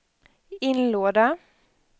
inlåda